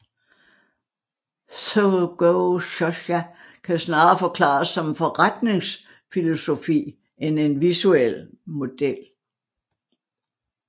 Sōgō shōsha kan snarere forklares som en forretningsfilosofi end en visuel model